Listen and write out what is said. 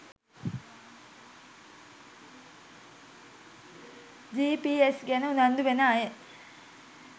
GPS ගැන උනන්දු වන අය